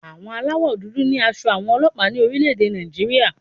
Aṣọ aláwọ̀ dúdú ní aṣọ àwọn ọlọ́pàá ní orílẹ̀-ẹ̀dẹ̀ Nàìjírí.